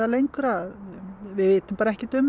lengra við vitum ekkert um